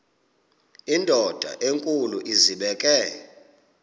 indod enkulu izibeke